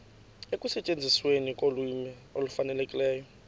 ekusetyenzisweni kolwimi olufanelekileyo